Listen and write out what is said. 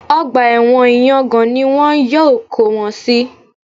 Ọgbà ẹ̀wọ̀n ìyangàn ni wọn yóò kó wọn sí